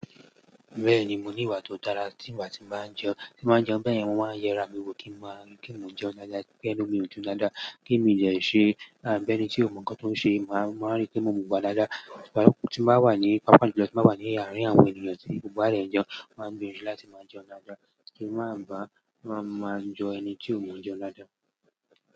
Bẹ́ẹ̀ni, mo ní ìwà tó dára. Tí ìgbà tí bá n jẹun, tí màá jẹun bẹ́ẹ̀ ni wọ́n máa ń yẹra rà mi wò kí n máa jẹun dáadáa, pé kí ẹnu mi ó jẹun dáadáa, kí mi ò je ṣe bi enítí ò mọ̀ nǹkan tí ó ń ṣe. Máa rí pé mo wáa dáadáa. Tí màá wà ní, pápá julọ, tí màá wà ní àárín àwọn ènìyàn tí gbogbo wá jẹ̀ jẹun, máa gbìyànjú láti máa jẹun dáadáa, kí n má bá jo ẹni tí ò mọ̀ jẹun dáadáa.